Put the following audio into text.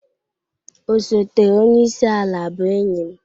Osote onye isi ala bụ enyi m.